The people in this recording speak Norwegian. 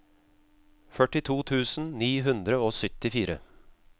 førtito tusen ni hundre og syttifire